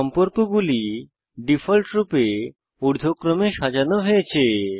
সম্পর্কগুলি ডিফল্টরূপে ঊর্ধ্বক্রমে সাজানো হয়েছে